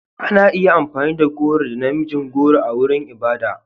Ana iya amfani da goro da na mijin goro a wurin ibada.